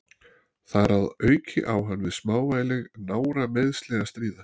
Þar að auki á hann við smávægileg nárameiðsli að stríða.